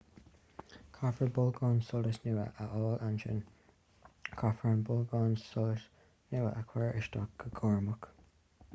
caithfear bolgán solais nua a fháil ansin caithfear an bolgán solais nua a chur isteach go cúramach